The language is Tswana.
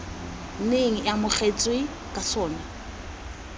neng e amogetswe ka sona